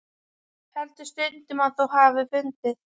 Heldur stundum að þú hafir fundið.